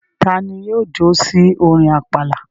Ta ni yóò jó sí orin àpàlà?